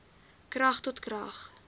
krag tot krag